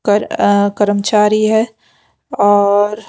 कर अ कर्मचारी है और --